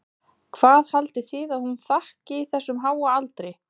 Hvað haldið þið að hún þakki þessum háa aldri?